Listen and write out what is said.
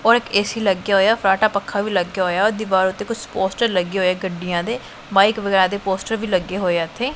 ਔਰ ਇਕ ਏ_ਸੀ ਲੱਗਿਆ ਹੋਇਆ ਫਰਾਟਾ ਪੱਖਾ ਵੀ ਲੱਗ ਗਿਆ ਹੋਇਆ ਤੇ ਕੁਝ ਪੋਸਟਰ ਲੱਗੇ ਹੋਏ ਗੱਡੀਆਂ ਦੇ ਬਾਈਕ ਵਗੈਰਾ ਤੇ ਪੋਸਟਰ ਵੀ ਲੱਗੇ ਹੋਏ ਆ ਇਥੇ।